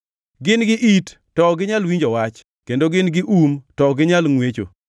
Gin gi it, to ok ginyal winjo wach, kendo gin gi um, to ok ginyal ngʼwecho.